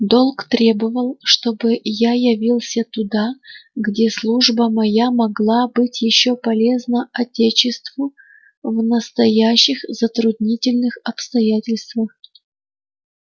долг требовал чтобы я явился туда где служба моя могла быть полезна отечеству в настоящих затруднительных обстоятельствах